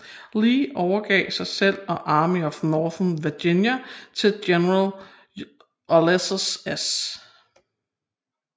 Lee overgav sig selv og Army of Northern Virginia til general Ulysses S